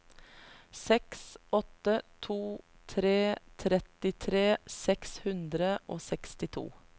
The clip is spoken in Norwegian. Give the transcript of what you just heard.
seks åtte to tre trettitre seks hundre og sekstito